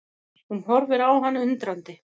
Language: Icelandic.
Hún horfir á hann undrandi.